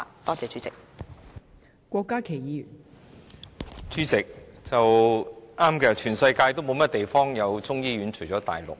代理主席，對的，全世界除了大陸，便沒有其他地方有中醫醫院。